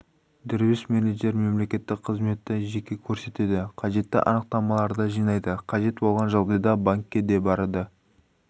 дербес менеджер мемлекеттік қызметті жеке көрсетеді қажетті анықтамаларды жинайды қажет болған жағдайда банкке де барады